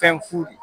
Fɛn fu de